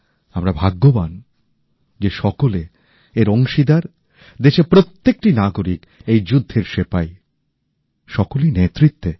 আমরা ভাগ্যবান যে সকলে এর অংশীদার দেশের প্রত্যেকটি নাগরিক এই যুদ্ধের সেপাই সকলেই নেতৃত্বে